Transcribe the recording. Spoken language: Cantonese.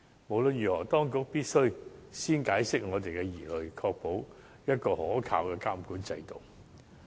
無論如何，當局必須先釋除我們的疑慮，確保有可靠的監管制度。